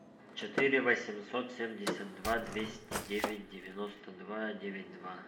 четыре восемьсот семьдесят два двести девять девяносто два девять два